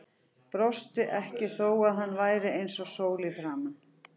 Brosti ekki þó að hann væri eins og sól í framan.